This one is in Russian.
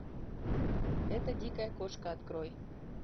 эта дикая кошка открой